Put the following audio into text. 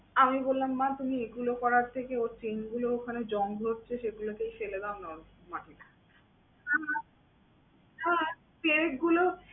আমি বললাম মা তুমি এগুলো করার থেকে ওর chain গুলো ওখানে জং ধরছে সেগুলোকে ফেলে দেও না ওর মাটিতে। হ্যাঁ হ্যাঁ হ্যাঁ chain গুলো